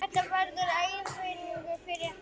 Þetta verður einvígi fyrir hana.